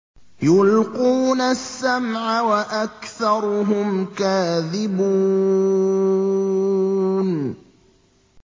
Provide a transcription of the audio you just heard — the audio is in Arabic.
يُلْقُونَ السَّمْعَ وَأَكْثَرُهُمْ كَاذِبُونَ